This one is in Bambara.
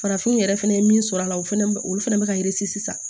Farafinw yɛrɛ fɛnɛ ye min sɔrɔ a la o fɛnɛ bɛ olu fɛnɛ bɛ ka sisan